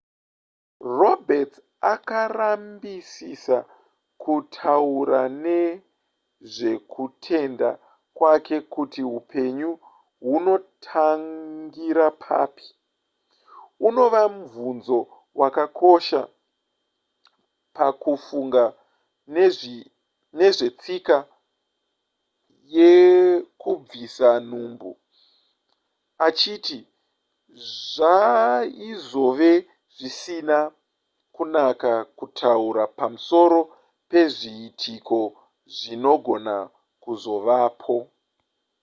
roberts akarambisisa kutaura nezvekutenda kwake kuti hupenyu hunotangira papi unova mubvunzo wakakosha pakufunga nezvetsika yekubvisa nhumbu achiti zvaizove zvisina kunaka kutaura pamusoro pezviitiko zvinogona kuzovapo